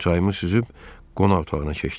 Çayımı süzüb qonaq otağına keçdim.